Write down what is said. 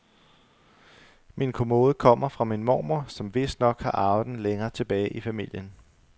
Min kommode kommer fra min mormor, som vistnok har arvet den længere tilbage i familien.